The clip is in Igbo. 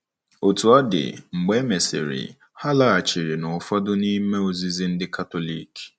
Otú ọ dị, mgbe e mesịrị, ha laghachiri n'ụfọdụ n'ime ozizi ndị Katọlik.